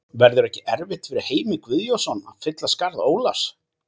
Verður ekki erfitt fyrir Heimi Guðjónsson að fylla skarð Ólafs?